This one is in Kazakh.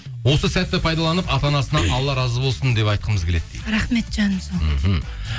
осы сәтті пайдаланып ата анасына алла разы болсын деп айтқымыз келеді дейді рахмет жаным сол мхм